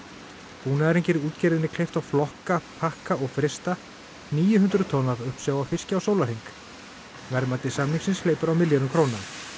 búnaðurinn gerir útgerðinni kleift að flokka pakka og frysta níu hundruð tonn af uppsjávarfiski á sólarhring verðmæti samningsins hleypur á milljörðum króna